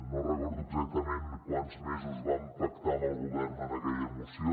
no recordo exactament quants mesos vam pactar amb el govern en aquella moció